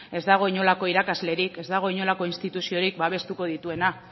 ez dago inolako irakaslerik ez dago inolako instituziorik babestuko dituena